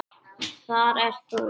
Þar ert þú líka.